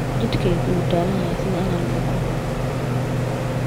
Jidhkaygu wuu daalan yahay, sida inaan buko.